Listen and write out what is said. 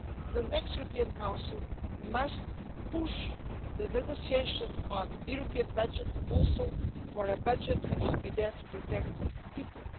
the next European Council must push the negotiations on the European budget also for a budget which will be there to protect people.